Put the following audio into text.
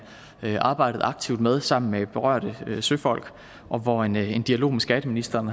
arbejdet aktivt med sammen med berørte søfolk og hvor en en dialog med skatteministeren